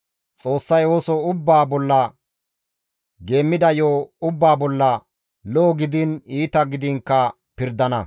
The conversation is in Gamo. Xoossay ooso ubbaa bolla, geemmida yo7o ubbaa bolla, lo7o gidiin iita gidiinkka pirdana.